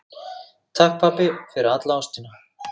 Takk, pabbi, fyrir alla ástina.